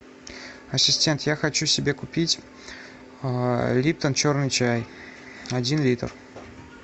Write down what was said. ассистент я хочу себе купить липтон черный чай один литр